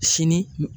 Sini